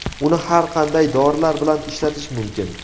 Uni har qanday dorilar bilan ishlatish mumkin.